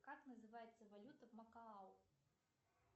как называется валюта в макао